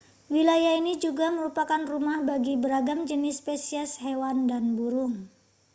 wilayah ini juga merupakan rumah bagi beragam jenis spesies hewan dan burung